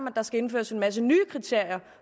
at der skal indføres en masse nye kriterier